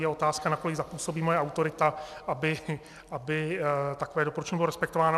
Je otázka, nakolik zapůsobí moje autorita, aby takové doporučení bylo respektováno.